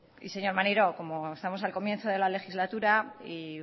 y señor maneiro como estamos al comienzo de la legislatura y